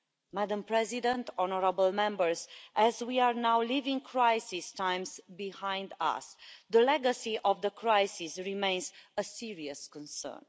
Madam President, honourable Members, as we are now leaving crisis times behind us, the legacy of the crisis remains a serious concern.